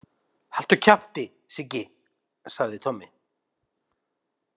Haltu kjafti, Siggi, sagði Tommi.